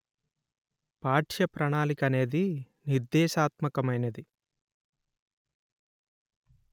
పాఠ్య ప్రణాళిక అనేది నిర్దేశాత్మకమైనది